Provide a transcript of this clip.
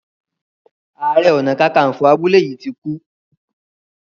aré ọnà kankanfo abúlé yí tí kú.